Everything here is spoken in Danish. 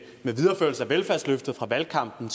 videreførelse af velfærdsløfter fra valgkampen